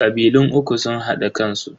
Kabilun uku sun hada kansu.